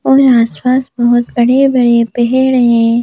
और आसपास बहुत बड़े-बड़े पेहेड़ है।